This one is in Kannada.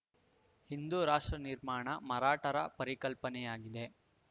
ಹಿಂದೂ ರಾಷ್ಟ್ರ ನಿರ್ಮಾಣ ಮರಾಠರ ಪರಿಕಲ್ಪನೆಯಾಗಿದೆ